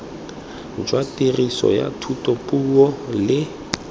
jwa tiriso ya thutapuo le